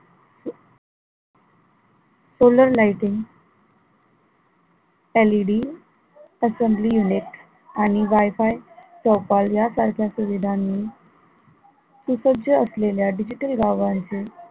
solar lighting LED assembly unit आणि Wi-Fi या सारख्या सुविधांनी सुसज्ज असलेल्या digital गावांची